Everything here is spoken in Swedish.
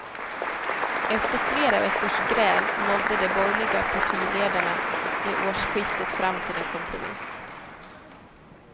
Efter flera veckors gräl nådde de borgerliga partiledarna vid årsskiftet fram till en kompromiss.